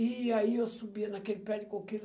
E aí eu subia naquele pé de coquilo.